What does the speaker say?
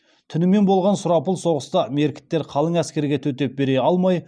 түнімен болған сұрапыл соғыста меркіттер қалың әскерге төтеп бере алмай